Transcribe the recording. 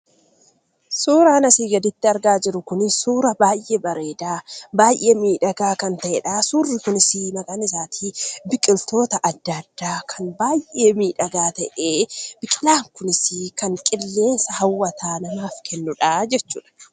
Suuraan asii gaditti argaa jiru kun suura baay'ee bareedaa, baay'ee miidhagaa kan ta'edha. Suurri kunis maqaan isaatii biqiltoota adda addaa kan baay'ee miidhagaa ta'ee, biqilaan kunis kan qilleensa hawwataa namaaf kennudhaa jechuudha.